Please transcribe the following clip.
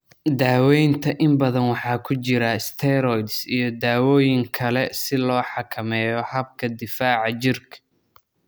Daawaynta inta badan waxaa ku jira steroids iyo dawooyin kale si loo xakameeyo habka difaaca jirka.